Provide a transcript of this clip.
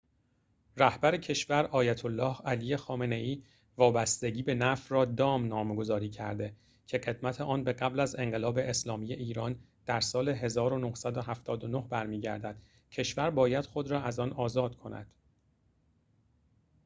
رهبر کشور آیت الله علی خامنه ای وابستگی به نفت را دام نامگذاری کرده که قدمت آن به قبل از انقلاب اسلامی ایران در سال ۱۹۷۹ برمی‌گردد کشور باید خود را از آن آزاد کند